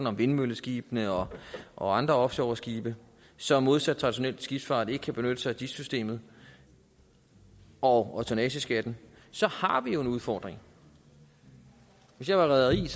om vindmølleskibene og og andre offshoreskibe som modsat traditionel skibsfart ikke kan benytte sig af dis systemet og tonnageskatten så har vi jo en udfordring hvis jeg var rederi ville